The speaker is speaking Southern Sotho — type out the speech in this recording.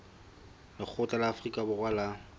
lekgotla la afrika borwa la